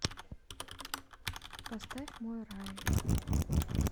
поставь мой рай